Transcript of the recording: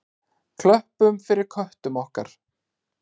Klöppum fyrir köttum okkar!